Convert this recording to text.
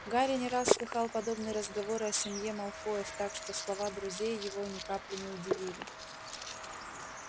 гарри не раз слыхал подобные разговоры о семье малфоев так что слова друзей его ни капли не удивили